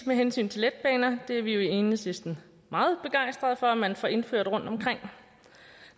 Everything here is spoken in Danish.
med hensyn til letbaner er vi jo i enhedslisten meget begejstret for at man får indført dem rundtomkring